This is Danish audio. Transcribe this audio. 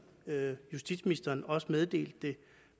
justitsministeren også meddelte det